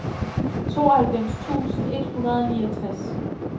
tooghalvfems tusind et hundrede og niogtres